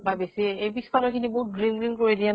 বা বেছি, এই পিছ্ফালৰ খিনি বহুত green green কৰি দিয়ে ন